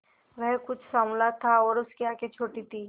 वह कुछ साँवला था और उसकी आंखें छोटी थीं